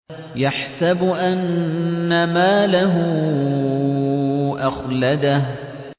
يَحْسَبُ أَنَّ مَالَهُ أَخْلَدَهُ